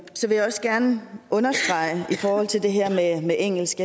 så vil jeg også gerne i forhold til det her med engelsk